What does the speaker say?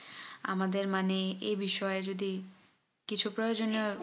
আমাদের মানে এই বিষয় এ যদি কিছু প্রয়োজনীয়